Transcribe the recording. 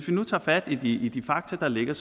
nu tage fat i de fakta der ligger